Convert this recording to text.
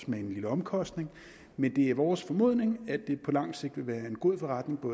med en lille omkostning men det er vores formodning at det på lang sigt vil være en god forretning